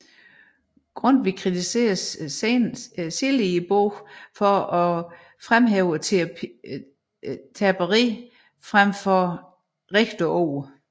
Grundtvig kritiserede senere bogen for at fremhæve terperi frem for det levende ord